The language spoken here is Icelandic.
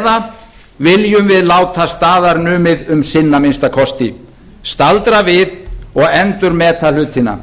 eða viljum við láta staðar numið um sinn að minnsta kosti staldra við og endurmeta hlutina